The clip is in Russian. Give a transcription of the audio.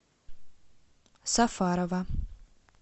сафарова